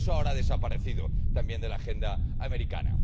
Por eso, ahora ha desaparecido también de la agenda americana.